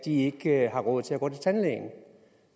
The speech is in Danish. ikke har råd til at gå til tandlægen